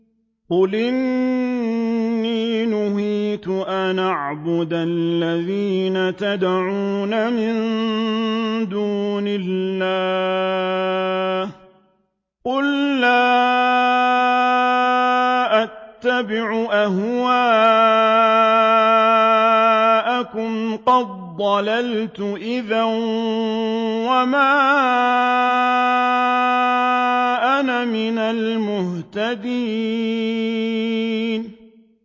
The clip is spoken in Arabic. قُلْ إِنِّي نُهِيتُ أَنْ أَعْبُدَ الَّذِينَ تَدْعُونَ مِن دُونِ اللَّهِ ۚ قُل لَّا أَتَّبِعُ أَهْوَاءَكُمْ ۙ قَدْ ضَلَلْتُ إِذًا وَمَا أَنَا مِنَ الْمُهْتَدِينَ